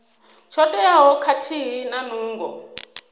tsho teaho khathihi na nungo